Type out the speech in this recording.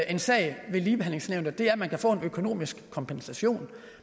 en sag ved ligebehandlingsnævnet er at man kan få en økonomisk kompensation